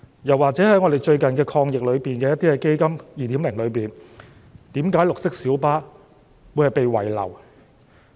又或是在最近的"防疫抗疫基金 2.0" 中，為何綠色小巴會被遺漏？